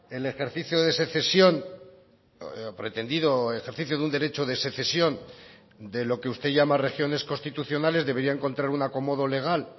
el ejercicio de secesión pretendido ejercicio de un derecho de secesión de lo que usted llama regiones constitucionales debería encontrar un acomodo legal